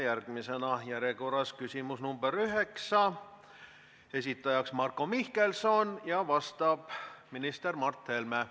Järgmisena küsimus nr 9, esitaja on Marko Mihkelson ja vastab minister Mart Helme.